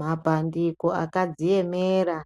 Mapandiko akadziemera